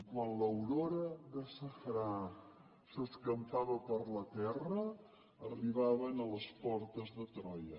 i quan l’aurora de safrà s’escampava per la terra arribaven a les portes de troia